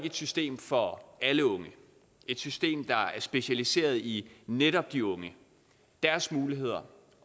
et system for alle unge et system der er specialiseret i netop de unge deres muligheder